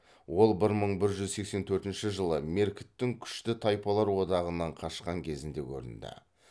ол бір мың бір жүз сексен төртінші жылы меркіттің күшті тайпалар одағынан қашқан кезінде көрінді